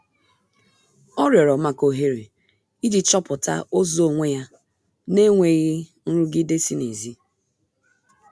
Ọ rịorọ maka ohere iji chọpụta ụzọ onwe ya n'enweghi nrụgide si n'ezi